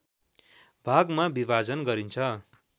भागमा विभाजन गरिन्छ